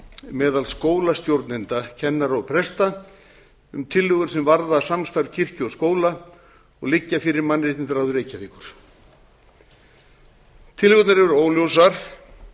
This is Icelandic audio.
meðal skólastjórnenda kennara og presta um tillögur sem varða samstarf kirkju og skóla og liggja fyrir mannréttindaráði reykjavíkur tillögurnar eru óljósar